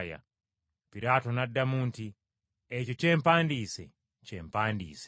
Piraato n’addamu nti, “Ekyo kye mpandiise kye mpandiise.”